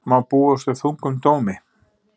Má búast við þungum dómi